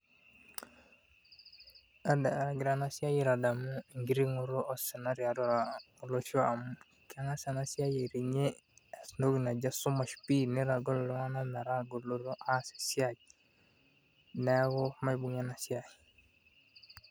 Aagira ena siai aitadamu enkiting'oto osina tiatua olosho amu egira aiting'ie osina pii amu keng'as ena siai aiting'ie osina pii nitagol iltung'anak metaa keas esiai, neeku maibung'a ena siai.